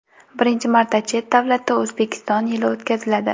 Birinchi marta chet davlatda O‘zbekiston yili o‘tkaziladi.